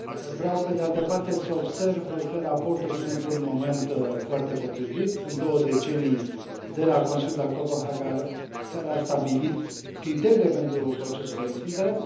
Vreau, pe de altă parte, să observ că raportul vine într un moment foarte potrivit sunt două decenii de la Consiliul de la Copenhaga, care a stabilit criteriile pentru procesul de extindere.